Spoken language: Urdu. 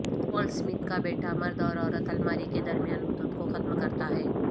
ولٹ سمتھ کا بیٹا مرد اور عورت الماری کے درمیان حدود کو ختم کرتا ہے